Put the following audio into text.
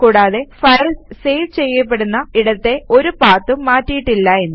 കൂടാതെ files save ചെയ്യപ്പെടുന്ന ഇടത്തെ ഒരു പാത്തും മാറ്റിയിട്ടില്ല എന്നും